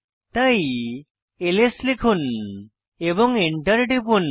তাই এলএস লিখুন এবং Enter টিপুন